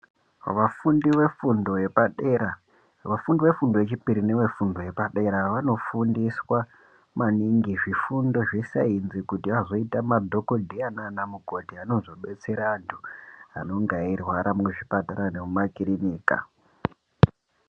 Vafundi ve fundo yepa dera vafundi ve fundo ye chipiri neve fundo yepa dera vano fundiswa maningi zvifundo zve sainzi kuti azoita madhokodheya nana mukoti anozo detsera antu anonga eyi rwara mu zvipatara nemu makirinika.